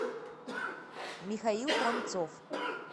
михаил храмцов